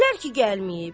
Dedilər ki, gəlməyib.